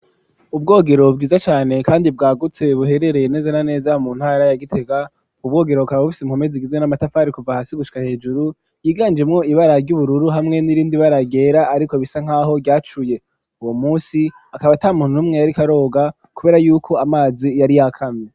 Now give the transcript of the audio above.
Ubwogero bwiza cane ,kandi bwagutse ,buherereye neze na neza mu ntara yagitega , ubwo bwogero bukaba bufise impome zigizwe n'amatafari ,kuva hasi gusha hejuru yiganjemo ibara ry'ubururu ,hamwe n'irindi bara ryera ariko bisa nkaho ryacuye ,uwo munsi akaba atamuntu numwe yariko aroga, kubera yuko amazi yari yakamye.